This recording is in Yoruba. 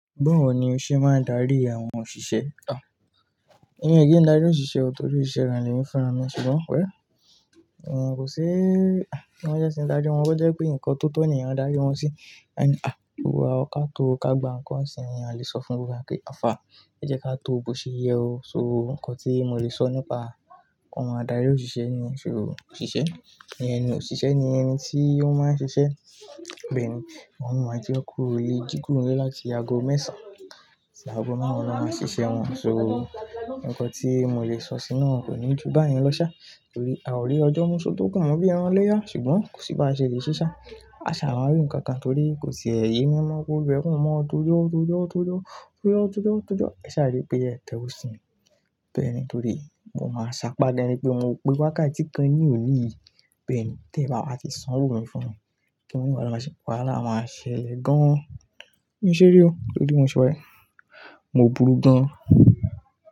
Báwo ni o ṣe máa ń darí àwọn òṣìṣẹ́? À, èmi kì í darí òṣìṣẹ́ torí osìṣe gan lèmi funra mi, ṣùgbọ́n well, kò si, à, bí wọ́n jẹ́ ṣe ń darí wọn, bó jẹ́ pé nǹkan tó tọ́ ni èèyàn a darí wọn sí, àní, à, gbogbo wa kà tó ká gba nǹkan sì ni a lè sọ fún gbogbo wa pé, how far o, ẹ jẹ́ ká tó bó ṣe yẹ o. So nǹkan tí mo lè sọ nípa àwọn adarí òṣìṣẹ́ niyen sò òṣìṣẹ́ ní ẹni òṣìṣẹ́ ni ẹni tí ó máa ń ṣiṣẹ́. Bẹ́ẹ̀ ni, àwọn mìíràn jẹ́ kó le jí kuro nle láti ago mẹ́ẹ̀sán, ṣi ago márùn-ún ló máa ṣiṣẹ́ wọn? So nǹkan tí mo lè sọ sí naa kò ní ju báyìí lọ sá, torí a ò rí ọjọ́ mú só lokùn mo bí i ẹran iléyá ṣùgbọ́n kò sí ba ṣe lè ṣíṣá. A ṣà máa rí nǹkan kan torí kò tìe yemi mọ́, kolúwae kan mo tojo, tojo, tojó, tojo, tojo, tojo. Ẹ ṣà rí pé ẹ̀ tẹ̀ ówo si mi. Bẹ́ẹ̀ ni torí mo máa ṣàpá dà ni pé mó pé wákàtí kan ní òní. Bẹ́ẹ̀ ni, tí ẹ̀ bá wá ti sanwó mi fún mi, kí wọn wá lọ má ṣe? Wàhálà máa ṣẹlẹ̀ gan-an. Mi-i ṣeré o torí bi mo ṣe wa e. Mo burú gan-an.